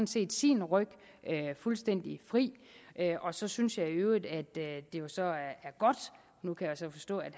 set sin ryg fuldstændig fri og så synes jeg i øvrigt at jeg jo så nu kan forstå at